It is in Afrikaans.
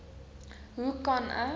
hoe kan ek